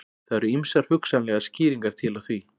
Það eru ýmsar hugsanlegar skýringar til á því.